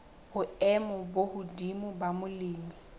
boemo bo hodimo la molemi